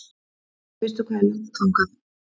Veistu hvað er langt þangað?